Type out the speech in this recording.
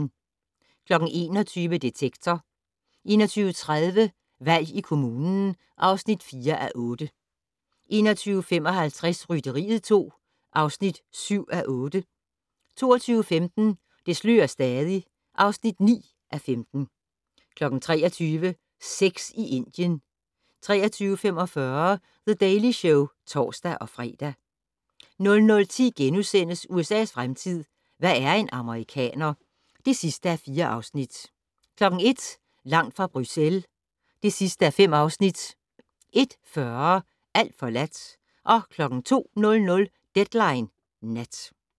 21:00: Detektor 21:30: Valg i kommunen (4:8) 21:55: Rytteriet 2 (7:8) 22:15: Det slører stadig (9:15) 23:00: Sex i Indien 23:45: The Daily Show (tor-fre) 00:10: USA's fremtid - hvad er en amerikaner? (4:4)* 01:00: Langt fra Bruxelles (5:5)* 01:40: Alt forladt 02:00: Deadline Nat